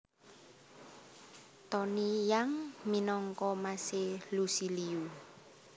Tony Yang minangka mas e Lusi Liu